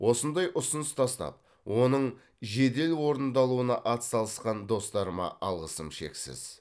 осындай ұсыныс тастап оның жедел орындалуына атсалысқан достарыма алғысым шексіз